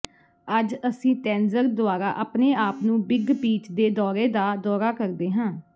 ਅੱਜ ਅਸੀਂ ਤੈੰਜ਼ਰ ਦੁਆਰਾ ਆਪਣੇ ਆਪ ਨੂੰ ਬਿੱਗ ਪੀਚ ਦੇ ਦੌਰੇ ਦਾ ਦੌਰਾ ਕਰਦੇ ਹਾਂ